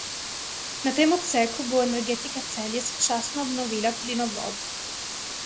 Na tem odseku bo Energetika Celje sočasno obnovila plinovod.